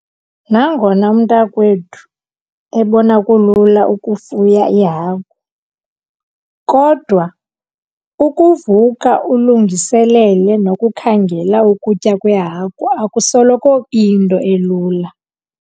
Nangona umntakwethu ebona kulula ukufuya iihagu, kodwa ukuvuka ulungiselele nokukhangela ukutya kweehagu akusoloko iyinto elula.